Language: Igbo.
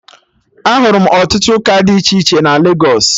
Ahụrụ m ọtụtụ ụka dị iche iche na Legos